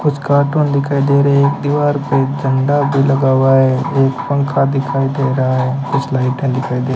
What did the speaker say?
कुछ कार्टून दिखाई दे रहे एक दीवार पे झंडा भी लगा हुआ है एक पंखा दिखाई दे रहा है कुछ लाइटें दिखाई दे --